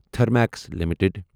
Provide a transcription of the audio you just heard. Thermax limited